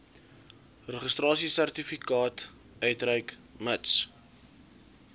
registrasiesertifikaat uitreik mits